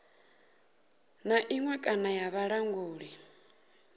na iṅwe kana ya vhulanguli